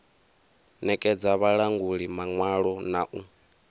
nekedza vhalanguli maṅwalo na u